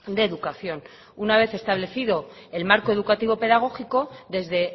de educación una vez establecido el marco educativo pedagógico desde